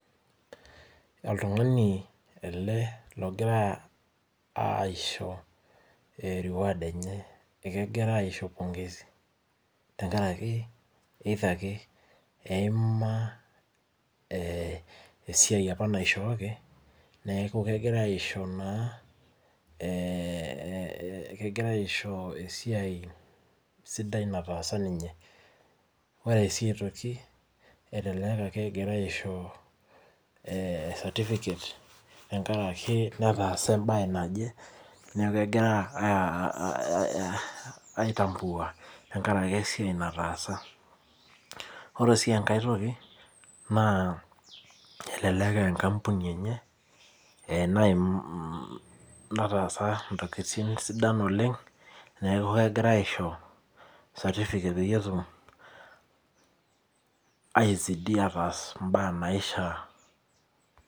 Oltung'ani ele logira aisho reward enye. Ekegirai aisho pongezi tenkaraki either ake eima esiai apa naishooki, neeku kegirai aisho naa kegirai aisho esiai sidai nataasa ninye. Ore si aitoki, elelek akegirai aisho certificate tenkaraki netaasa ebae naje. Neeku kegira ai tambua tenkaraki esiai nataasa. Ore si enkae toki naa, elelek enkampuni enye ena nataasa intokiting sidan oleng, neeku kegirai aisho certificate peyie etum ai zidi ataas imbaa naishaa.